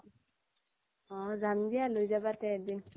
অহ যাম দিয়া লৈ যাবা তে এদিন